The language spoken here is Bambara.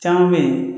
Caman bɛ yen